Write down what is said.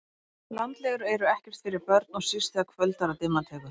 Landlegur eru ekkert fyrir börn og síst þegar kvöldar og dimma tekur